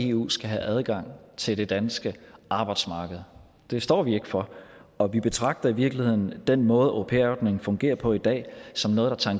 eu skal have adgang til det danske arbejdsmarked det står vi ikke for og vi betragter i virkeligheden den måde au pair ordningen fungerer på i dag som noget